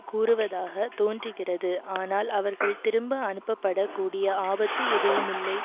கூறுவதாக தோன்றுகிறது ஆனால் அவர்கள் திரும்ப அனுப்பப்படக் கூடிய ஆபத்து எதுவுமில்லை